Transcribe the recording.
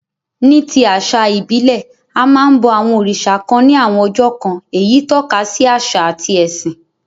Ní ti àsà ìbílẹ̀, a máa n bo àwon òrìsà kan ni àwon ọjọ́ kan, eyí tókasi àsà àti ẹ̀sìn